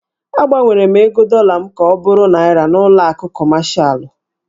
Agbanwere m ego dọla m ka ọ bụrụ Naịra n'ụlọ akụ kọmashalụ.